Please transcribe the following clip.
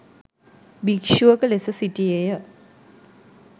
භික්‍ෂුවක ලෙස සිටියේය